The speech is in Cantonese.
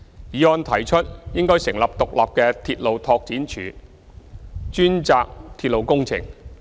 議案提出應成立獨立的鐵路拓展署，專責鐵路工程。